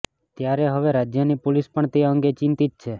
ત્યારે હવે રાજ્યની પોલીસ પણ તે અંગે ચિંતત છે